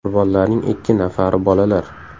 Qurbonlarning ikki nafari bolalar.